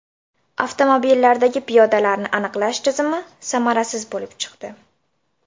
Avtomobillardagi piyodalarni aniqlash tizimi samarasiz bo‘lib chiqdi.